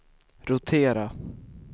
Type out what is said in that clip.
rotera